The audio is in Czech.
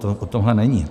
To o tomhle není.